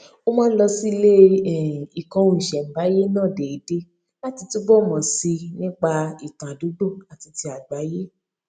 ó máa ń lọ sí ilé ìkóhunìṣèǹbáyé náà déédéé láti túbò mò sí i nípa ìtàn àdúgbò àti ti àgbáyé